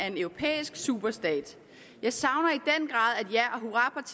en europæisk superstat jeg savner